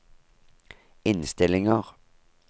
innstillinger